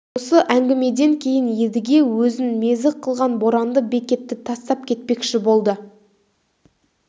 осы әңгімеден кейін едіге өзін мезі қылған боранды бекетті тастап кетпекші болды